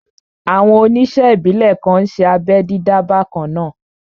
Àwọn oníṣe ìbílè kan n ṣé abẹ́ dídá bakanna